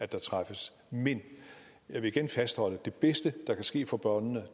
der træffes men jeg vil igen fastholde at det bedste der kan ske for børnene